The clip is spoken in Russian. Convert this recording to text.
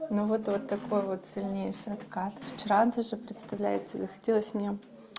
ну вот вот такой вот сильнейший откат вчера он даже представляете захотелось мне